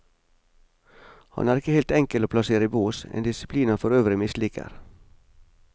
Han er ikke helt enkel å plassere i bås, en disiplin han for øvrig misliker.